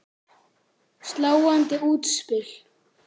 Sláandi útspil.